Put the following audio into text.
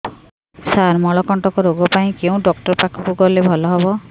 ସାର ମଳକଣ୍ଟକ ରୋଗ ପାଇଁ କେଉଁ ଡକ୍ଟର ପାଖକୁ ଗଲେ ଭଲ ହେବ